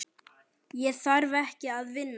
Ég þarf ekki að vinna.